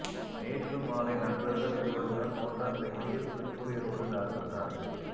நேற்று மாலை நண்பர்கள் இருவருடன் மோட்டார் சைக்கிளில் சிறுமுகை ரோடு தாசில்தார்